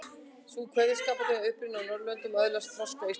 Sú kveðskapartegund er upp runnin á Norðurlöndum og öðlaðist þroska á Íslandi.